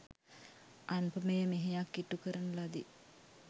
අනුපමේය මෙහෙයක් ඉටුකරන ලදී.